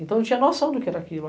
Então eu tinha noção do que era aquilo.